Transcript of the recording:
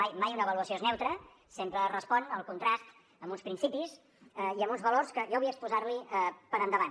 mai una avaluació és neutra sempre respon al contrast amb uns principis i amb uns valors que jo vull exposar li per endavant